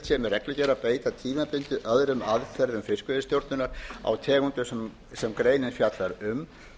að beita tímabundið öðrum aðferðum fiskveiðistjórnar á tegundum sem greinin fjallar um